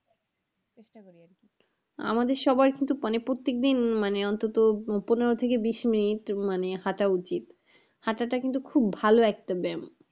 আমাদের সবার কিন্তু মানে প্রত্যেকদিন মানে অন্তত পনেরো থেকে বিশ মিনিট মানে হাঁটা উচিত। হাঁটাটা কিন্তু খুব ভালো একটা ব্যায়াম।